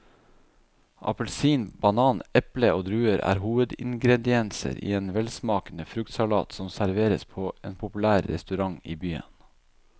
Appelsin, banan, eple og druer er hovedingredienser i en velsmakende fruktsalat som serveres på en populær restaurant i byen.